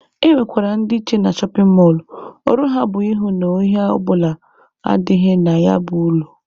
E nwekwara ndị nche na shọpin mọlụ, ọrụ ha bụ ịhụ na ohi ọ bụla adịghị na ya bụ ụlọ.